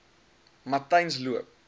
matyzensloop